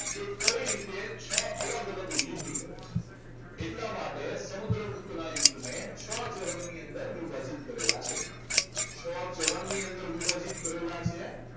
કે કઈ રીતે કઈ રીતે છ અલગ અલગ યુદ્ધ કરે છે એટલા માટે જ સમુદ્રગુપ્તના યુદ્ધને છ કરમની અંદર વિભાજિત કરેલા છે છ ચરણની અંદર વિભાજિત કરેલા છે